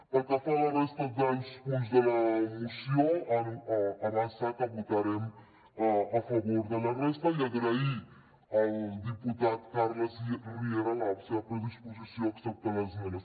pel que fa a la resta dels punts de la moció avançar que votarem a favor de la resta i agrair al diputat carles riera la seva predisposició a acceptar les esmenes